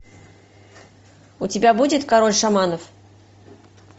у тебя будет король шаманов